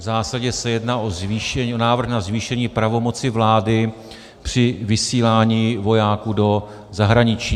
V zásadě se jedná o návrh na zvýšení pravomoci vlády při vysílání vojáků do zahraničí.